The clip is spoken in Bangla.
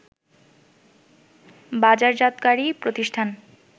বাজারজাতকারী প্রতিষ্ঠান